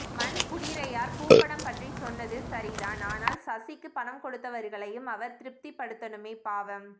மண்குடிரையார் பூ படம் பற்றிச் சொன்னது சரிதான் ஆனால் சசிக்கு பணம் கொடுத்தவர்களையும் அவர் திருப்திப்படுத்தணுமே பாவம்